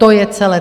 To je celé.